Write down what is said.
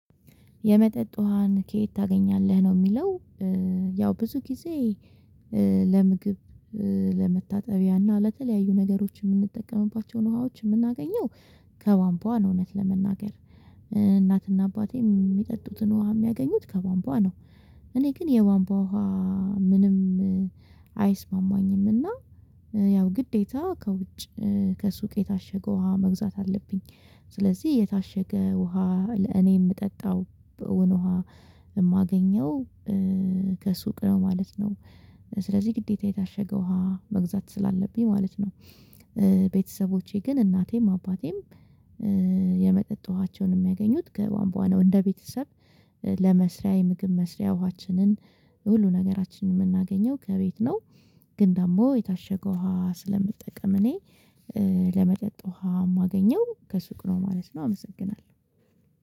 የመጠጥ ውሃን ከየት ታገኛለህ ነው የሚለው ያው ብዙ ጊዜ ለምግብ ለመታጠቢያና ለተለያዩ ነገሮች የምንጠቀምባቸውን ውሃዎች የምናገኘው ከቧምቧ እውነት ለመናገር እናትና አባቴም የሚጠጡትን ውሃ የሚያገኙት ከቧንቧ ነው እኔ ግን የቧንቧ ውሃ ምንም አይስማማኝምና ያው ግዴታ ከውጭ ከሱቅ የታሸገው ውሃ መግዛት አለብኝ። ስለዚህ የታሸገ ውሃ ለእኔ የምጠጣው ውሃ የማገኘው ከሱቅ ነው ማለት ነው። ስለዚህ ግዴታ የታሸገው ውሃ መግዛት ስላለብኝ ማለት ነው። ቤተሰቦቼ ግን እናቴም አባቴም የመጠጥ ውሃቸውን የሚያገኙት ከቧምቧ እንደ ቤተሰብ ለመስሪያ የምግብ መስሪያ ውሃችንን ሁሉ ነገራችንን የምናገኘው ከቤት ነው። ግን ደግሞ የታሸገው ውሃ ስለምጠቀም እኔ ለመጠጥ ውሃ የማገኘው ከሱቅ ነው ማለት ነው አመሰግናለሁ።